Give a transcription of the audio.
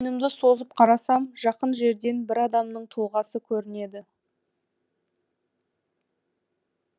созып қарасам жақын жерден бір адамның тұлғасы көрінеді